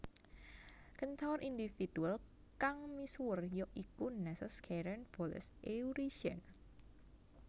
Kentaur individual kang misuwur ya iku Nessos Kheiron Folos Eurition